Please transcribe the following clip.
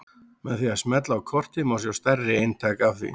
Með því að smella á kortið má sjá stærri eintak af því.